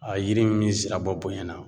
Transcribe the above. yiri min bi zira bɔ bonyɛ na